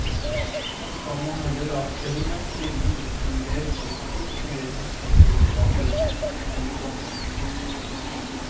Så kan man heller la fortellingen spille mot en mer spesifikk kinesisk kulturbakgrunn. punktum